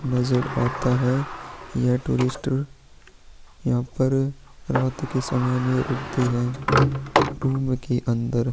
नज़र आता है यह टूरिस्टर यहाँ पर रात के समय में रूकती है रूम के अंदर।